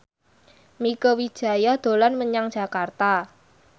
Mieke Wijaya dolan menyang Jakarta